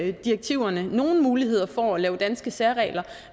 i direktiverne nogle muligheder for at lave danske særregler